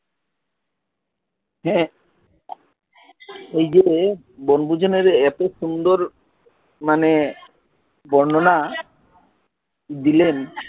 হ্যাঁ ঐজে বনভোজনের এত সুন্দর মানে বর্ণনা দিলেন